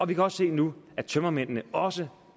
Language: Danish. vi kan også se nu at tømmermændene også